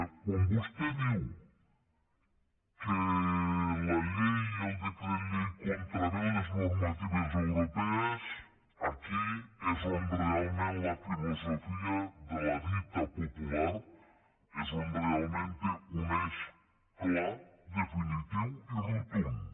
quan vostè diu que la llei el decret llei contravé les normatives europees aquí és on realment la filosofia de la dita popular és on realment té un eix clar definitiu i rotund